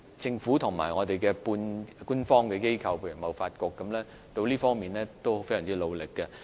政府和半官方的機構，例如貿發局，在這方面都非常努力。